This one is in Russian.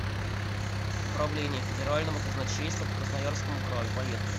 управление федерального казначейства по красноярскому краю поехали